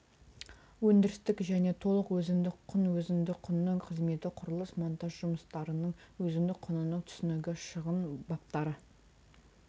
өндірістік және толық өзіндік құн өзіндік құнның қызметі құрылыс монтаж жұмыстарының өзіндік құнының түсінігі шығын баптары